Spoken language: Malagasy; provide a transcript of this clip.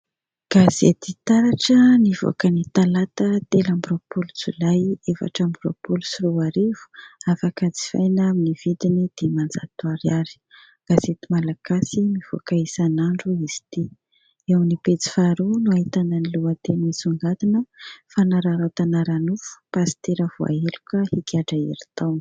Gazety taratra nivoaka ny talata, telo amby roapolo, Jolay, efatra amby roapolo sy roa arivo, afaka jifaina amin'ny vidiny dimanjato ariary, gazety malagasy mivoaka isan'andro izy ity ; eo amin'ny pejy faharoa no ahitana ny lohateny misongadina : "Fanararaotana ara-nofo pasitera voaheloka higadra herintaona."